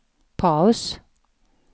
paus